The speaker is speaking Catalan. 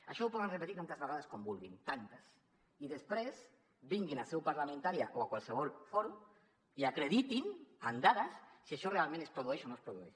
això ho poden repetir tantes vegades com vulguin i després vinguin a seu parlamentària o a qualsevol fòrum i acreditin amb dades si això realment es produeix o no es produeix